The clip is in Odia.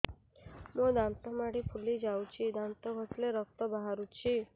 ମୋ ଦାନ୍ତ ମାଢି ଫୁଲି ଯାଉଛି ଦାନ୍ତ ଘଷିଲେ ରକ୍ତ ବାହାରୁଛି